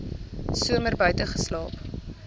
somer buite geslaap